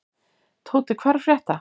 Tóti, hvað er að frétta?